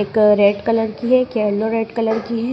एक red colour की है एक येलो रेड कलर की है।